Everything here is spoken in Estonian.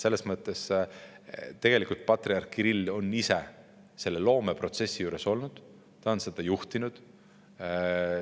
Selles mõttes, tegelikult patriarh Kirill on ise selle loomeprotsessi juures olnud, ta on seda juhtinud.